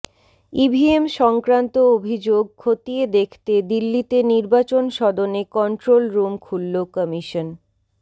EVM সংক্রান্ত অভিযোগ খতিয়ে দেখতে দিল্লিতে নির্বাচন সদনে কন্ট্রোল রুম খুলল কমিশন